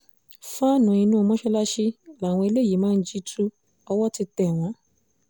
fàánú inú mọ́sálásí làwọn eléyìí máa ń jí tu owó ti tẹ̀ wọ́n